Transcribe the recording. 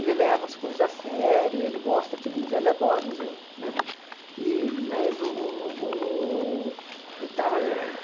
Ele leva as coisas a sério, ele gosta aqui do museu, ele adora o museu, né? E mas o o e tal é